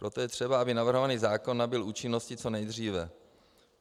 Proto je třeba, aby navrhovaný zákon nabyl účinnosti co nejdříve.